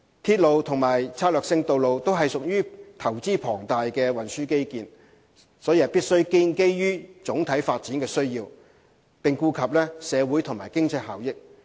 鐵路及策略性道路均屬龐大投資的運輸基建，必須建基於總體發展需要，顧及社會和經濟效益。